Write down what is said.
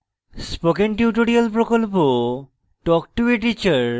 spoken tutorial প্রকল্প talk to a teacher প্রকল্পের অংশবিশেষ